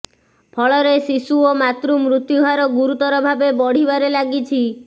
ଫଳରେ ଶିଶୁ ଓ ମାତୃ ମୃତ୍ୟୁ ହାର ଗୁରୁତର ଭାବେ ବଢିବାରେ ଲାଗିଛି